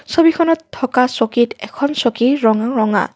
ছবিখনত থকা চকীত এখন চকীৰ ৰং ৰঙা।